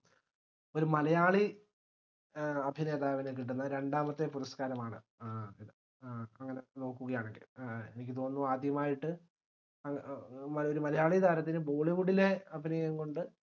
ഒര് മലയാളി ഏർ അഭിനേതാവിന്‌ കിട്ടുന്ന രണ്ടാമത്തെ പുരസ്‌ക്കാരമാണ് ഏഹ് ഏഹ് അങ്ങനെനോക്കുവാണെങ്കിൽ ഏഹ് എനിക്ക് തോന്നുന്നു ആദ്യമായിട്ട് ഏർ ഒര് മലയാളിതാരത്തിന് bollywood ലെ അഭിനയം കൊണ്ട്